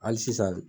Hali sisan